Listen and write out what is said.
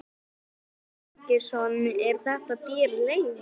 Símon Birgisson: Er þetta dýr leiga?